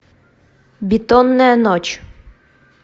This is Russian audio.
бетонная ночь